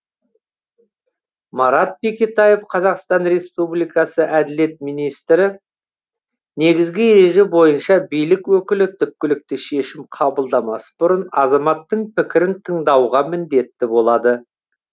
марат бекетаев қазақстан республикасы әділет министрі негізгі ереже бойынша билік өкілі түпкілікті шешім қабылдамас бұрын азаматтың пікірін тыңдауға міндетті болады